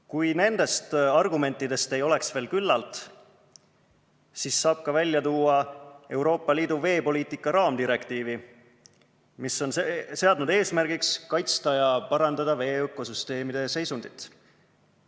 Kui nendest argumentidest ei ole veel küllalt, siis saab välja tuua Euroopa Liidu veepoliitika raamdirektiivi, mis on seadnud eesmärgiks kaitsta ja parandada veeökosüsteemide seisundit.